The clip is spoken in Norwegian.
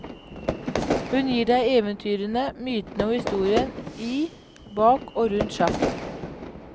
Hun gir deg eventyrene, mytene og historien i, bak og rundt sjakk.